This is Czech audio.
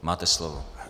Máte slovo.